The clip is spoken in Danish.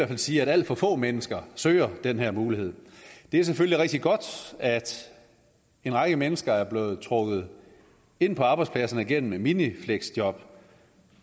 fald sige at alt for få mennesker søger den her mulighed det er selvfølgelig rigtig godt at en række mennesker er blevet trukket ind på arbejdspladserne gennem et minifleksjob